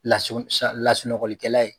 Lasulasunɔgɔlilikɛla ye.